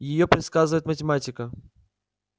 её предсказывает математика